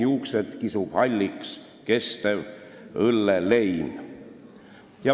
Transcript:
Juuksed kisub halliks kestev õllelein.